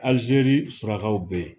Alijeri surakaw bɛ yen.